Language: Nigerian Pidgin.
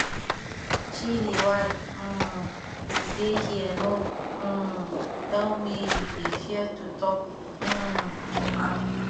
chidi why um you dey here no um tell me you dey fear to talk um to am